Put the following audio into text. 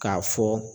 K'a fɔ